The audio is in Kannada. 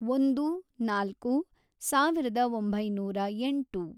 ಒಂದು, ನಾಲ್ಕು, ಸಾವಿರದ ಒಂಬೈನೂರ ಎಂಟು